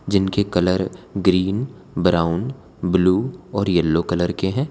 जिनके colour green brown blue और yellow colour के हैं।